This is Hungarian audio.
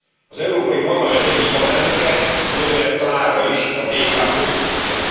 Az Európai Parlament egyik alelnöke, Dobrev Klára is a DK politikusa.